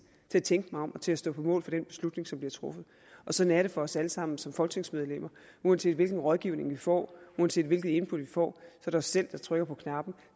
til at tænke mig om og til at stå på mål for den beslutning som bliver truffet sådan er det for os alle sammen som folketingsmedlemmer uanset hvilken rådgivning vi får uanset hvilket input vi får er det os selv der trykker på knappen